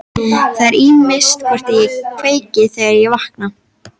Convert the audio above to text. Það er ýmist hvort ég kveiki, þegar ég vakna.